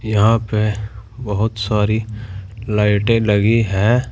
यहां पे बहुत सारी लाइटें लगी हैं।